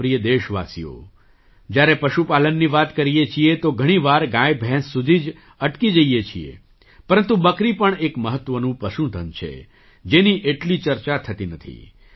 મારા પ્રિય દેશવાસીઓ જ્યારે પશુપાલનની વાત કરીએ છીએ તો ઘણી વાર ગાયભેંસ સુધી જ અટકી જઈએ છીએ પરંતુ બકરી પણ એક મહત્ત્વનું પશુ ધન છે જેની એટલી ચર્ચા થતી નથી